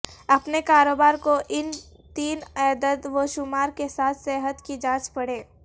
اپنے کاروبار کو ان تین اعدادوشمار کے ساتھ صحت کی جانچ پڑیں